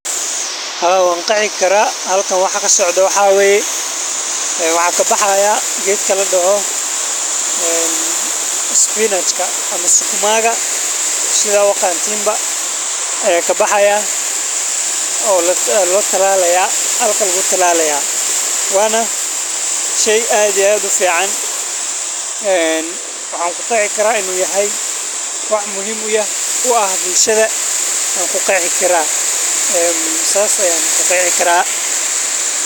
Haa wan qeexiikara halkan waxa kasocdaa waxa waye waxaa kabaxay geedka ladoho spinajka ama sukumaka sidha uqantiin baa halkan lakutalalay waana sheey aad iyo ufican sidhas daradeed maxan kuqiyasikara inu yahay muhiim dhanka bulshada.